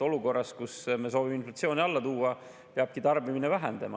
Olukorras, kus me soovime inflatsiooni alla tuua, peabki tarbimine vähenema.